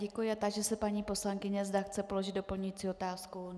Děkuji a táži se paní poslankyně, zda chce položit doplňující otázku.